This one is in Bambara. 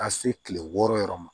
Ka se kile wɔɔrɔ yɔrɔ ma